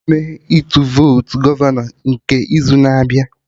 Agaghị eme Ịtụ votu gọvanọ nke izu na-abịa